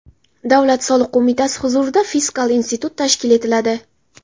Davlat soliq qo‘mitasi huzurida Fiskal institut tashkil etiladi.